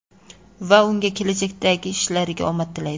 Va unga kelajakdagi ishlarida omad tilaydi.